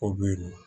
O bɛ yen